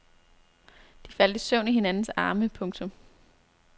De faldt i søvn i hinandens arme. punktum